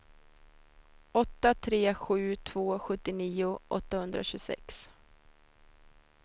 åtta tre sju två sjuttionio åttahundratjugosex